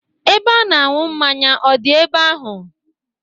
Ebe a na-anwụ mmanya ọ dị ebe ahụ?